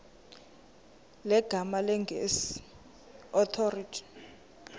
zegama lesngesn authorit